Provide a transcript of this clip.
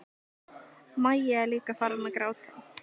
Maja er líka farin að gráta.